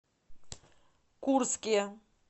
курске